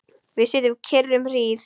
Við sitjum kyrr um hríð.